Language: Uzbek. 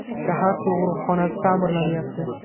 Shahar tug‘uruqxonasi ta’mirlanyapti.